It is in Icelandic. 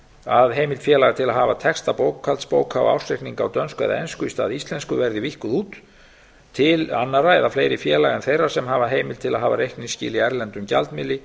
að heimild félaga til að hafa texta bókhaldsbóka á ársreikninga á dönsku eða ensku í stað íslensku verði víkkuð út tl annarra eða fleiri félaga en þeirra sem hafa heimild til að hafa reikningsskil í erlendum gjaldmiðli